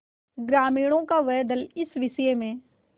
ग्रामीणों का वह दल इस विषय में